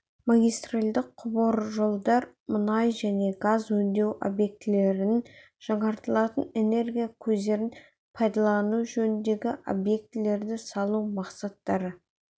магистральдық құбыржолдар мұнай және газ өңдеу объектілерін жаңартылатын энергия көздерін пайдалану жөніндегі объектілерді салу мақсаттары